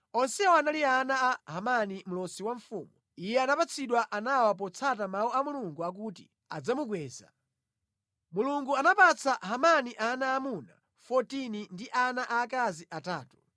Onsewa anali ana a Hemani mlosi wa mfumu. Iye anapatsidwa anawa potsata mawu a Mulungu akuti adzamukweza. Mulungu anapatsa Hemani ana aamuna 14 ndi ana aakazi atatu.